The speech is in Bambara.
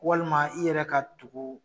Walima i yɛrɛ ka tugu